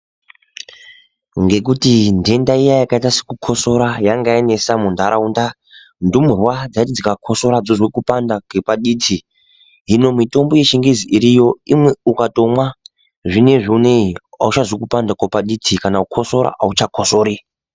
Ngekuti ndenda yakaita sekukosora yanga yanesa muntharaunda ndumurwa dzaiti dzika kosora dzozwe kupanda kwepa diti hino mitombo yechingezi iriyo ukandomwa zvinezvi unei auchazwi kupanda kwepa diti kana kukosora auchakosori.